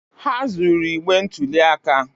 Ha zuru igbe ntụli aka